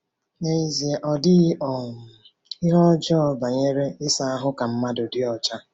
Nezie, ọ dịghị um ihe ọjọọ banyere ịsa ahụ ka mmadụ dị ọcha.